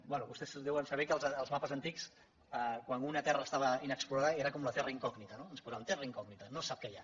bé vostès deuen saber que als mapes antics quan una terra estava inexplorada era com la terra incògnita no hi po saven terra incògnita no se sap què hi ha